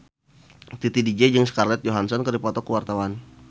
Titi DJ jeung Scarlett Johansson keur dipoto ku wartawan